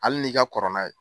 Hali n'i ka kɔrɔ n'a ye.